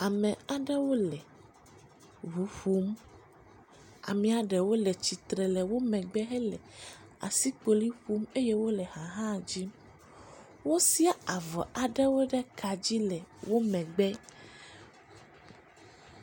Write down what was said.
Ame aɖewo le ŋu ƒom. Amee ɖewo le tsitre le wo megbe hele asikpoli ƒom eye wo le ha hã dzim. Wosia avɔ aɖewo ɖe ka dzi le wo megbe.